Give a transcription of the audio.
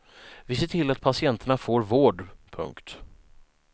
Vi ser till att patienterna får vård. punkt